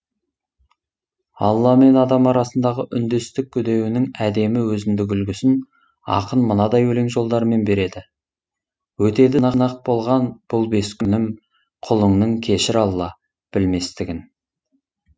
алла мен адам арасындағы үндестік үдеуінің әдемі өзіндік үлгісін ақын мынадай өлең жолдарымен береді өтеді болған бұл бес күнім құлыңның кешір алла білместігін